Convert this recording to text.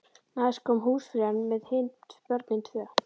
Næst kom húsfreyjan með hin börnin tvö.